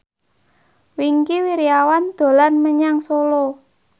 Wingky Wiryawan dolan menyang Solo